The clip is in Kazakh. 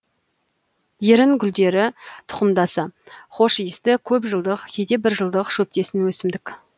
ерін гүлділер тұқымдасы хош иісті көп жылдық кейде бір жылдық шөптесін өсімдік